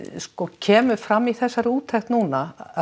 kemur fram í þessari úttekt núna af